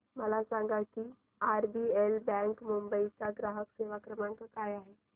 मला सांगा की आरबीएल बँक मुंबई चा ग्राहक सेवा क्रमांक काय आहे